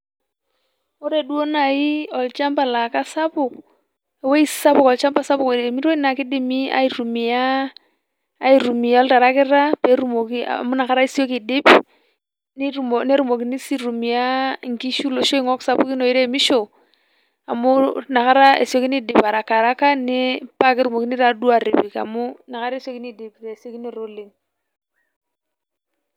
Ore duo nai olchamba laa kasapuk ,ewuei sapuk olchamba sapuk oiremitoi naa kidimi aitumia aitumia oltarakita petumoki amu ina kata isioki aidip netumokini sii aitumia nkishu loish oingok sapukin oiremisho amu ina kata esiokini aidip arakaaraka ni paa ketumokini taa duoo atipik amu ina kata esiokini aidip tesiokinoto oleng .